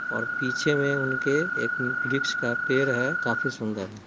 और पीछे में उनके एक उ वृक्ष का पेर है काफी सुन्दर है।